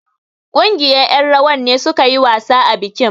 Ƙungiyar ƴan rawar ne suka yi wasa a bikin.